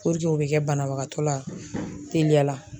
o bɛ kɛ banabagatɔ la teliya.